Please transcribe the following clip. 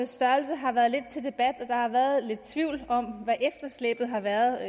størrelse har været lidt til debat og har været lidt tvivl om hvad efterslæbet har været